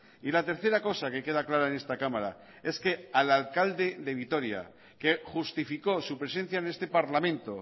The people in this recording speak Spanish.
y la tercera cosa que queda clara en esta cámara es que al alcalde de vitoria que justificó su presencia en este parlamento